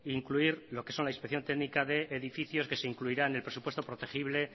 incluir lo que son la inspección técnica de edificios que se incluirá en el presupuesto protegible